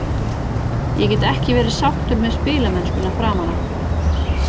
Ég get ekki verið sáttur með spilamennskuna framan af.